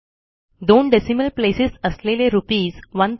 दोन decimal places असलेले RS